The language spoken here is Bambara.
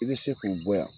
I bɛ se k'u bɔ yan